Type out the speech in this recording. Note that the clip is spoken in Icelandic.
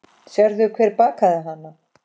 Sástu hver bakaði hana?